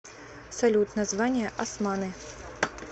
салют название османы